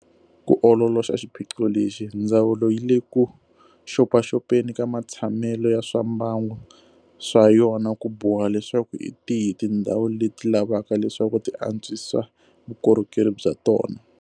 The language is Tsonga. Ku ololoxa xiphiqo lexi, Ndzawulo yi le ku xopaxopeni ka matshamelo ya swa mbangu swa yona ku boha leswaku hi tihi tindhawu leti lavaka leswaku ti antswisa vukorhokeri bya tona.